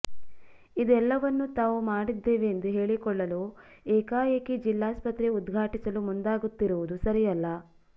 ಇದೆಲ್ಲವನ್ನು ತಾವು ಮಾಡಿದ್ದೆವೆಂದು ಹೇಳಿಕೊಳ್ಳಲು ಏಕಾಏಕಿ ಜಿಲ್ಲಾಸ್ಪತ್ರೆ ಉದ್ಘಾಟಿಸಲು ಮುಂದಾಗುತ್ತಿರುವುದು ಸರಿಯಲ್ಲ